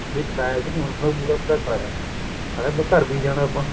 ਵੀ ਕਰਾਇਆ ਵੀ ਨੀ ਹੋਣਾ ਪੂਰਾ ਪੂਰਾ ਕਰਾਇਆ ਸਾਲਿਆ ਘਰ ਵੀ ਜਾਣਾ ਆਪਾਂ